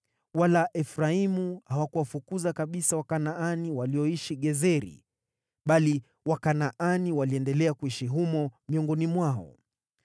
Wala Efraimu hawakuwafukuza kabisa Wakanaani walioishi Gezeri, bali Wakanaani waliendelea kuishi humo miongoni mwao.